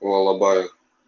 у алабая